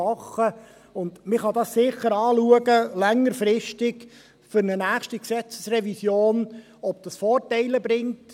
Man kann dies sicher längerfristig bei einer nächsten Gesetzesrevision anschauen, ob dies Vorteile bringt.